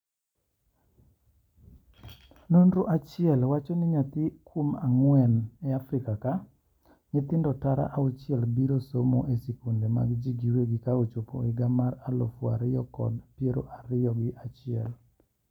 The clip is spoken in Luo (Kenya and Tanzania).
Nonro achiel wacho ni nyathi kuon ang'wen e Afrika ka, nyithindo tara auchiel biro somo e sikunde mag ji giwegi kochopo higa mar alufu ariyo kod alufu ariyo kod piero ariyo ga chiel.